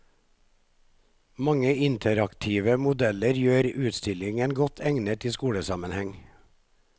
Mange interaktive modeller gjør utstillingen godt egnet i skolesammenheng.